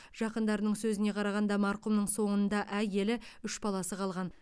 жақындарының сөзіне қарағанда марқұмның соңында әйелі үш баласы қалған